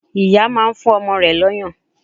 Ìyá máa ń fún ọmọ rẹ̀ l'ọ́yàn